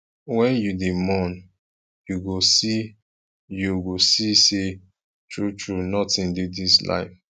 wen you dey mourn you go see you go see sey truetrue notin dey dis life